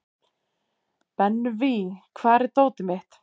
Benvý, hvar er dótið mitt?